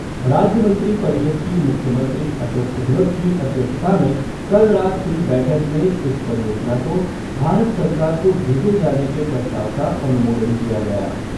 राज्य मंत्री परिषद की मुख्यमंत्री अशोक गहलोत की अध्यक्षता में कल रात हुई बैठक में इस परियोजना को भारत सरकार को भेजे जाने के प्रस्ताव का अनुमोदन किया गया।